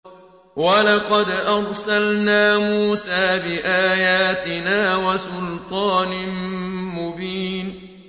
وَلَقَدْ أَرْسَلْنَا مُوسَىٰ بِآيَاتِنَا وَسُلْطَانٍ مُّبِينٍ